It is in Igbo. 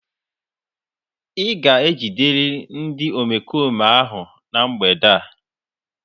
Ị ga-ejiderịrị ndị omekome ahụ na mgbede a.